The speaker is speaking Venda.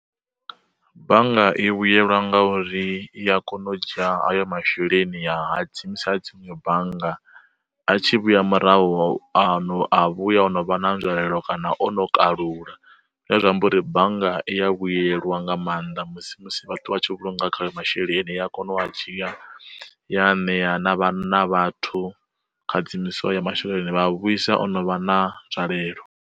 Bannga i vhuyelwa nga uri i a kona u dzhia hayo masheleni ya hadzimisa dziṅwe bannga, a tshi vhuya murahu ano a vhuya o no vha na nzwalelo kana o no kalula, zwine zwa amba uri bannga i ya vhuyelwa nga maanḓa musi musi vhathu vha tshi vhulunga khayo masheleni, i a kona u a dzhia ya ṋea na vhana vhathu kha dzimiswo ya masheleni a vhuisa o no vha na nzwalelo.